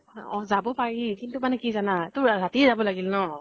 অ যাব পাৰি । কিন্তু মানে কি জানা, তোৰ ৰাতি যাব লাগিল ন ?